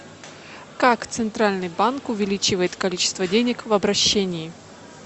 как центральный банк увеличивает количество денег в обращении